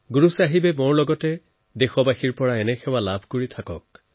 গুৰু চাহেবে আমাৰ পৰা আৰু মোৰ দেশবাসীৰ পৰা এইনে সেৱাই লাভ কৰি থাকক